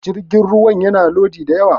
jirgin ruwa yana Lodi da yawa